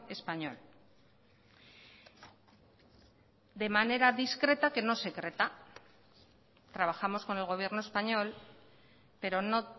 español de manera discreta que no secreta trabajamos con el gobierno español pero no